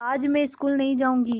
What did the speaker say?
आज मैं स्कूल नहीं जाऊँगी